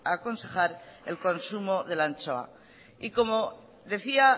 a aconsejar el consumo de la anchoa y como decía